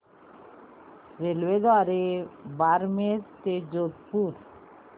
रेल्वेद्वारे बारमेर ते जोधपुर